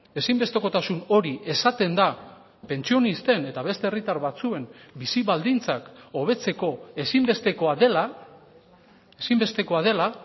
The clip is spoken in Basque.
ezinbestekotasun hori esaten da pentsionisten eta beste herritar batzuen bizi baldintzak hobetzeko ezinbestekoa dela ezinbestekoa dela